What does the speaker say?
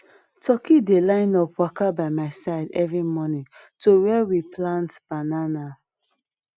turkey dey line up waka by my side every morning to where we plant banana